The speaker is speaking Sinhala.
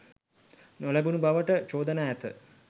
නොලැබුණු බවට චෝදනා ඇත